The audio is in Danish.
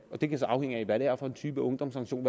og det kan så afhænge af hvad det er for en type ungdomssanktion